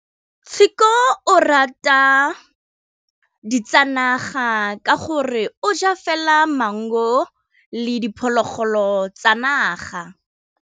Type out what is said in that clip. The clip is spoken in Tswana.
Tshekô o rata ditsanaga ka gore o ja fela maungo le diphologolo tsa naga.